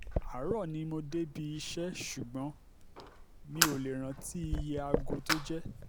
àárò ni mo débi iṣẹ́ ṣùgbọ́n mi ò lè rántí iye aago tó jẹ́